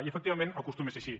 i efectivament acostuma a ser així